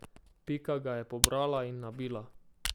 Pika ga je pobrala in nabila.